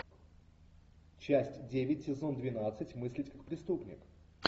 часть девять сезон двенадцать мыслить как преступник